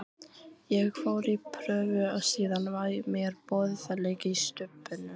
Ég fór í prufur og síðan var mér boðið að leika í Stubbnum.